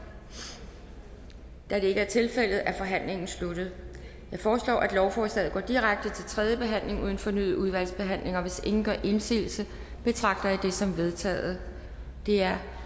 det er ikke tilfældet så er forhandlingen sluttet jeg foreslår at lovforslaget går direkte til tredje behandling uden fornyet udvalgsbehandling hvis ingen gør indsigelse betragter jeg det som vedtaget det er